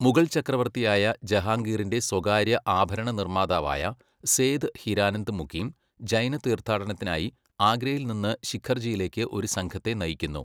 മുഗൾ ചക്രവർത്തിയായ ജഹാംഗീറിന്റെ സ്വകാര്യ ആഭരണനിർമ്മാതാവായ സേഥ് ഹിരാനന്ദ് മുകിം, ജൈന തീർത്ഥാടനത്തിനായി ആഗ്രയിൽ നിന്ന് ശിഖർജിയിലേക്ക് ഒരു സംഘത്തെ നയിക്കുന്നു.